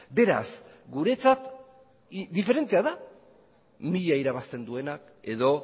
beraz guretzat diferentea da mila irabazten duenak edo